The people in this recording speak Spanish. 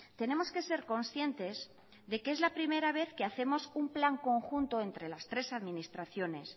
tenemos que ser conscientes de que es la primera vez que hacemos un plan conjunto entre las tres administraciones